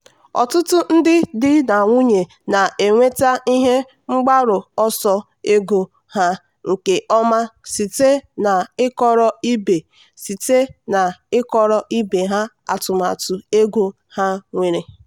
ọtụtụ ndị di na nwunye na-enweta ihe mgbaru ọsọ ego ha nke ọma site n'ịkọrọ ibe site n'ịkọrọ ibe ha atụmatụ ego ha nwere.